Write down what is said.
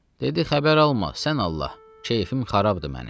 Dedi: "Xəbər alma, sən Allah, kefim xarabdır mənim."